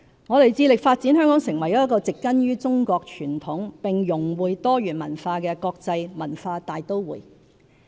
我們致力發展香港成為一個植根於中國傳統並融會多元文化的國際文化大都會。